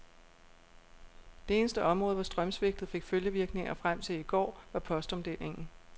Det eneste område, hvor strømsvigtet fik følgevirkninger frem til i går, var postomdelingen.